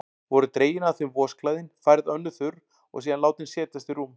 Voru dregin af þeim vosklæðin, færð önnur þurr og síðan látin setjast í rúm.